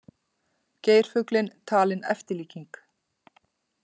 Geirfuglinn talinn eftirlíking